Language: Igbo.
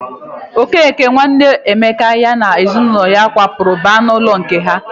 Okeke, nwanne Emeka, ya na ezinụlọ ya kwapụrụ baa n'ụlọ nke ha.